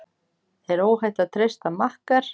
Er óhætt að treysta makker?